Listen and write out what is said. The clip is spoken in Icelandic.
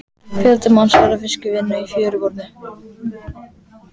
Fjöldi manns var við fiskvinnu í fjöruborðinu.